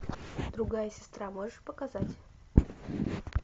другая сестра можешь показать